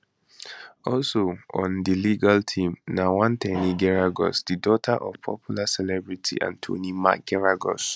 also on di legal team na one ten y geragos di daughter of popular celebrity attorney mark geragos